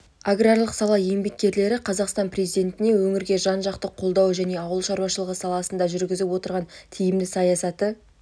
аграрлық сала еңбеккерлері қазақстан президентіне өңірге жан-жақты қолдауы және ауыл шаруашылығы саласында жүргізіп отырған тиімді саясаты